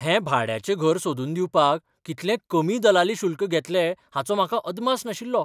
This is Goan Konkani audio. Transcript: हें भाड्याचें घर सोदून दिवपाक कितलें कमी दलाली शुल्क घेतलें हाचो म्हाका अदमास नाशिल्लो.